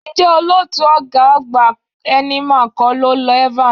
Ǹjẹ́ olótùú ọ̀gá àgbà Heineman kọ́ ló lọ Evans?